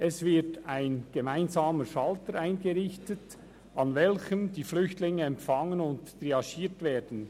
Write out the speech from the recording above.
Es wird ein gemeinsamer Schalter eingerichtet, an welchem die Flüchtlinge empfangen und triagiert werden.